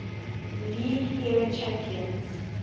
league era champions